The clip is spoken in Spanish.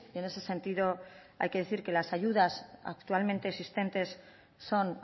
en ese sentido hay que decir que las ayudas actualmente existentes son